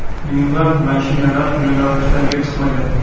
Minglab mashinalar yo‘nalishlarga chiqmagan.